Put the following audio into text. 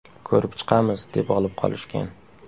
Ko‘rib chiqamiz, deb olib qolishgan.